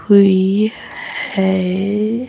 we have